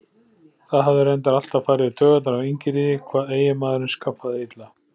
Það hafði reyndar alltaf farið í taugarnar á Ingiríði hvað eiginmaðurinn skaffaði illa.